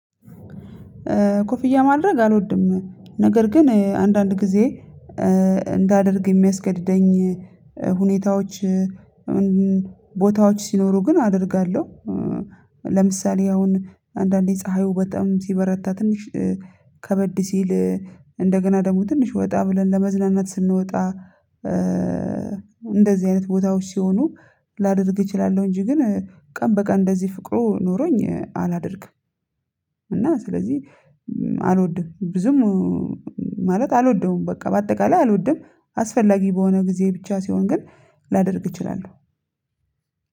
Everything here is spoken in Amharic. ኮፍያ ማድረግ አልወድም ነገር ግን አንዳንድ ጊዜ እንዳደርግ የሚያስገድደኝ ሁኔታዎች ቦታዎች ሲኖሩ ግን አደርጋለሁ። ለምሳሌ አሁን አንዳንዴ ፀሀዩ በጣም ሲበረታ ትንሽ ከበድ ሲል እንደገና ደግሞ ትንሽ ወጣ ብለን ለመዝናናት ስንወጣ እንደዚህ አይነት ቦታዎች ሲሆኑ ላደርግ እችላለሁ። እንጂ ግን ቀን በቀን እንደዚህ ፍቅሩ ኖሮኝ አላደርግም። እና ስለዚህ አልወድም ብዙም ማለት አልወደውም በቃ በአጠቃላይ አልወድም። አስፈላጊ በሆነ ጊዜ ብቻ ሲሆን ግን ላደርግ እችላለሁ።